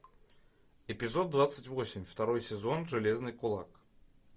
эпизод двадцать восемь второй сезон железный кулак